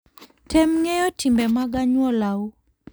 Tem ng'eyo timbe mag anyuolau.